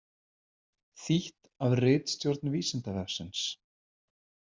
Þýtt af ritstjórn Vísindavefsins.